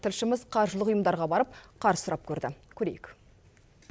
тілшіміз қаржылық ұйымдарға барып қарыз сұрап көрді көрейік